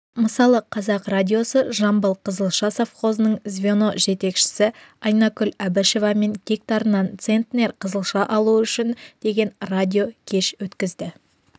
мысалы қазақ радиосы жамбыл қызылша совхозының звено жетекшісі айнакүл әбішевамен гектарынан центнер қызылша алу үшін деген радиокеш өткізді